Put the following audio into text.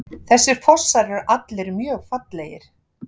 Þessir fossar eru allir mjög fallegir.